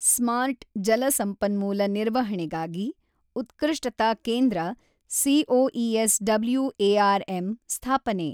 smart ಜಲ ಸಂಪನ್ಮೂಲ ನಿರ್ವಹಣೆಗಾಗಿ ಉತ್ಕೃಷ್ಟತಾ ಕೇಂದ್ರ ಸಿಒಇಎಸ್ ಡಬ್ಲ್ಯೂ.ಎ.ಆರ್.ಎಮ್ ಸ್ಥಾಪನೆ